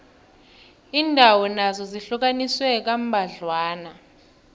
iindawo nazo zihlukaniswe kambadlwana